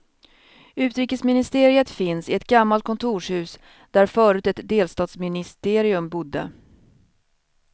Utrikesministeriet finns i ett gammalt kontorshus där förut ett delstatsministerium bodde.